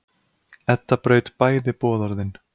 Edda braut bæði boðorðin.